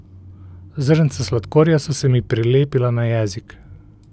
Zrnca sladkorja so se mi prilepila na jezik.